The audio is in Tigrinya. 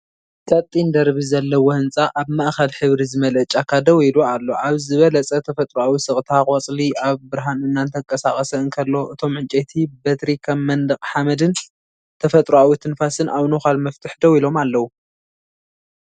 ቀጢን ደርቢ ዘለዎ ህንጻ ኣብ ማእከል ሕብሪ ዝመልአ ጫካ ደው ኢሉ ኣሎ። ኣብ ዝበለጸ ተፈጥሮኣዊ ስቕታ። ቆጽሊ ኣብ ብርሃን እናተንቀሳቐሰ እንከሎ፤ እቶም ዕንጨይቲ በትሪ ከም መንደቕ ሓመድን ተፈጥሮኣዊ ትንፋስን ኣብ ነዃል መፍትሕ ደው ኢሎም ኣለዉ።